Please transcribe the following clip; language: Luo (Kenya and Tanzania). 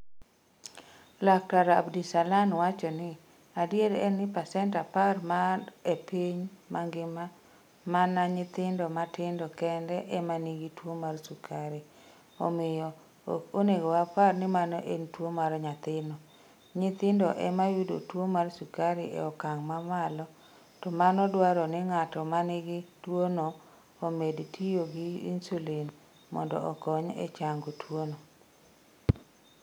Laktar Abdisalan wacho ni, 'Adiera en ni pasent 10 mar E piny mangima, mana nyithindo matindo kende ema nigi tuwo mar sukari, omiyo, ok onego wapar ni mano en tuwo mar nyathino. Nyithindo ema yudo tuwo mar sukari e okang ' mamalo, to mano dwaro ni ng'at ma nigi tuwono omed tiyo gi insulin mondo okony e chango tuwono.